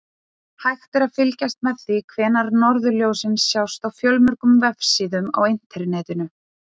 Hægt er að fylgjast með því hvenær norðurljósin sjást á fjölmörgum vefsíðum á Internetinu.